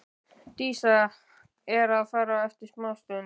Dísa er að fara eftir smástund.